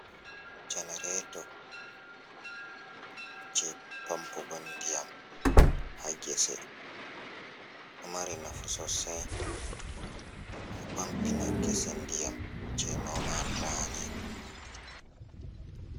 Janereeto jey pampugo ndiyam haa ngese, ɗo mari nafu sosay pampina ngese ndiyam jey noman raani.